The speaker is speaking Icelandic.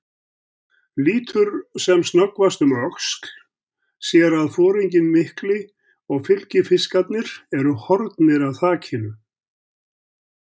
Lítur sem snöggvast um öxl, sér að foringinn mikli og fylgifiskarnir eru horfnir af þakinu.